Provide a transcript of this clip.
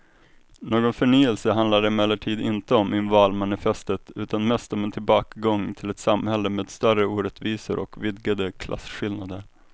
Någon förnyelse handlar det emellertid inte om i valmanifestet utan mest om en tillbakagång till ett samhälle med större orättvisor och vidgade klasskillnader.